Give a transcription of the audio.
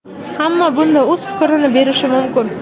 Hamma bunda o‘z fikrini berishi mumkin.